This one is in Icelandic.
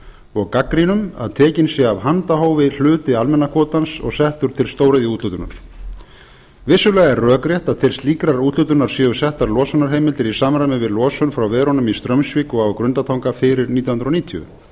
og gagnrýnum að tekinn sé af handahófi hluti almenna kvótans og settur til stóriðjuúthlutunar vissulega er rökrétt að til slíkrar úthlutunar séu settar losunarheimildir í samræmi við losun frá verunum í straumsvík og á grundartanga fyrir nítján hundruð níutíu